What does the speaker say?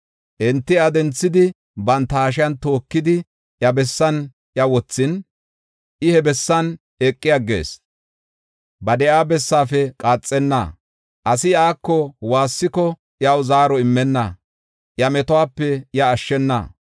Enti iya denthidi, banta hashiyan tookidi, iya bessan iya wothin, I he bessan eqi aggees. Ba de7iya bessaafe qaaxenna; asi iyako waassiko iyaw zaaro immenna; iya metuwape iya ashshena.